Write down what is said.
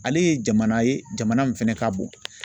Ale ye jamana ye jamana min fɛnɛ ka bon